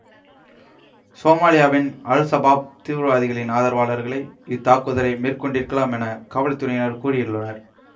சோமாலியாவின் al Shabaab தீவிரவாதிகளின் ஆதரவாளர்களே இத்தாக்குதலை மேற்கொண்டிருக்கலாம் என காவல்துறையினர் கூறியுள்ளனர்